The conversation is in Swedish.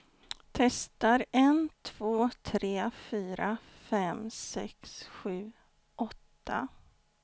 Testar en två tre fyra fem sex sju åtta.